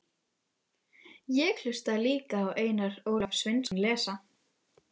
Ég hlustaði líka á Einar Ólaf Sveinsson lesa